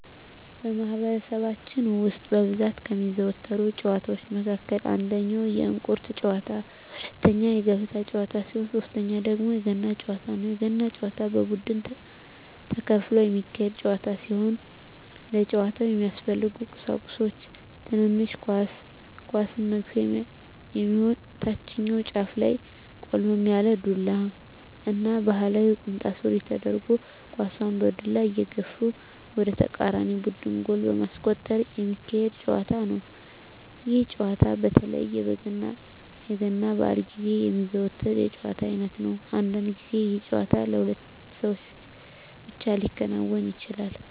በማህበረሰባችን ውስጥ በብዛት ከሚዘወተሩ ጨዋታወች መካከል አንደኛ የእንቁር ጨዋታ፣ ሁለተኛ የገበጣ ጨዋታ ሲሆን ሶተኛው ደግሞ የገና ጨዋታ ነው። የገና ጨዋታ በቡድን ተከፍሎ የሚካሄድ ጨዋታ ሲሆን ለጨዋታው የሚያስፈልጉ ቀሳቁሶች ትንሽ ኳስ፣ ኳሷን መግፊያ የሚሆን ታችኛው ጫፉ ላይ ቆልመም ያለ ዱላ እና ባህላዊ ቁምጣ ሱሪ ተደርጎ ኳሳን በዱላ እየገፉ ወደ ተቃራኒ ቡድን ጎል በማስቆጠር ሚካሄድ ጨዋታ ነው። ይህ ጨዋታ በተለይ የገና በአል ግዜ የሚዘወተር የጨዋታ አይነት ነው። አንዳንድ ግዜ ይህ ጨዋታ በሁለት ሰው ብቻ ሊከናወን ይችላል።